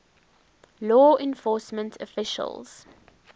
law enforcement officials